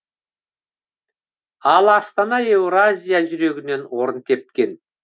ал астана еуразия жүрегінен орын тепкен